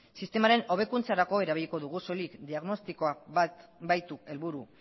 sistemaren hobekuntzarako erabiliko dugu soilik diagnostikoa baitu helburu